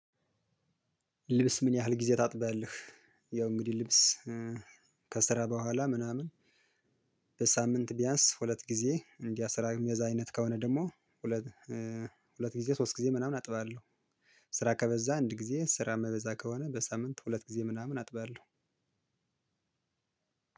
ልብስ ምን ያህል ጊዜ ታጥባለህ? ያው እንግዲህ ልብስ ከስራ በኋላ ምናምን በሳምንት ቢያንስ ሁለት ጊዜ እንዲያ ስራ የሚበዛ አይነት ከሆነ ደግሞ ሁለት ሁለት ጊዜ ሶስት ጊዜ ምናምን አጥባለሁ ስራ ከበዛ አንድ ጊዜ ስራ ማይበዛ ከሆነ በሳምንት ሁለት ጊዜ ምናምን አጥባለሁ።